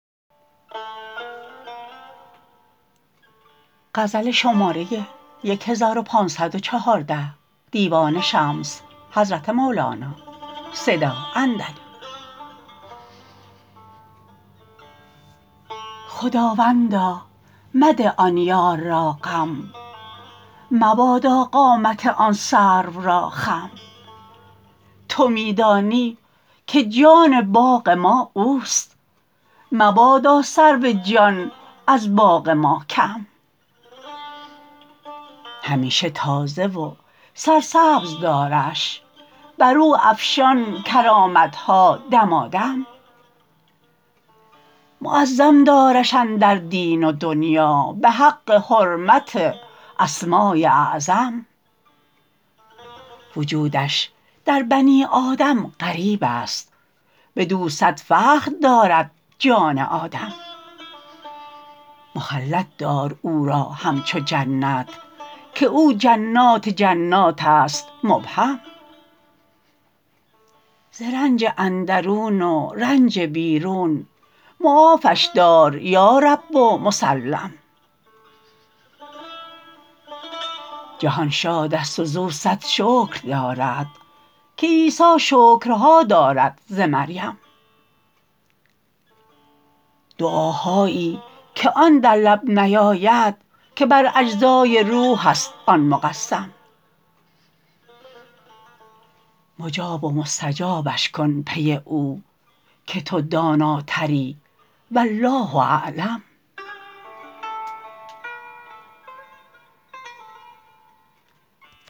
خداوندا مده آن یار را غم مبادا قامت آن سرو را خم تو می دانی که جان باغ ما اوست مبادا سرو جان از باغ ما کم همیشه تازه و سرسبز دارش بر او افشان کرامت ها دمادم معظم دارش اندر دین و دنیا به حق حرمت اسمای اعظم وجودش در بنی آدم غریب است بدو صد فخر دارد جان آدم مخلد دار او را همچو جنت که او جنات جنات است مبهم ز رنج اندرون و رنج بیرون معافش دار یا رب و مسلم جهان شاد است وز او صد شکر دارد که عیسی شکرها دارد ز مریم دعاهایی که آن در لب نیاید که بر اجزای روح است آن مقسم مجاب و مستجابش کن پی او که تو داناتری والله اعلم